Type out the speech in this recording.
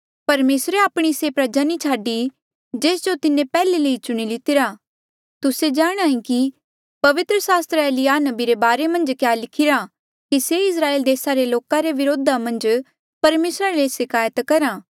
परमेसरे आपणी से प्रजा नी छाडी जेस जो तिन्हें पैहले ले ई चुणी लितिरा तुस्से जाणदे कि पवित्र सास्त्र एलिय्याह नबी रे बारे मन्झ क्या लिखिरा कि से इस्राएल देसा रे लोका रे व्रोधा मन्झ परमेसरा ले सिकायत करहे